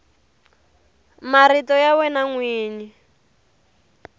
marito ya wena n wini